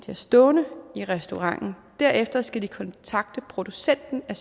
har stående i restauranten og derefter skal de kontakte producenten af